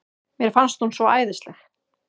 Mér fannst hún svo æðisleg.